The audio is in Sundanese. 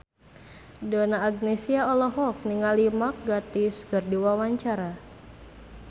Donna Agnesia olohok ningali Mark Gatiss keur diwawancara